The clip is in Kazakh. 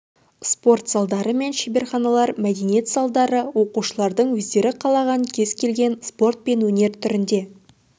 спорт залдары мен шеберханалар мәдениет залдары оқушылардың өздері қалаған кез келген спорт пен өнер түріне